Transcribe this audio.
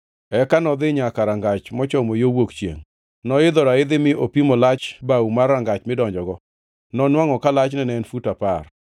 Eka nodhi nyaka rangach mochomo yo wuok chiengʼ. Noidho raidhi mi opimo lach baw mar rangach midonjogo. Nonwangʼo ka lachne ne en fut apar.